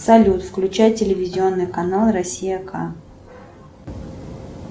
салют включай телевизионный канал россия к